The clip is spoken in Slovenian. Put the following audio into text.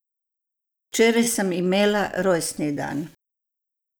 Včeraj sem imela rojstni dan.